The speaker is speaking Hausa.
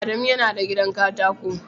Adamu yana da gidan katako